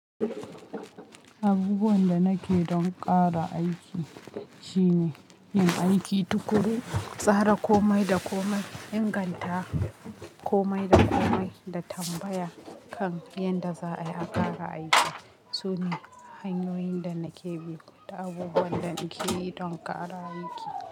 Abubuwan da nake don ƙara aiki shine yin aiki tuƙuru, tsara komai da komai, inganta komai da komai da tambaya kan yadda za ayi a ƙara aiki. Su ne hanyoyin da nake bi da abubuwan da nake yi don ƙara aiki.